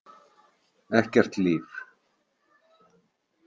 Ekkert líf.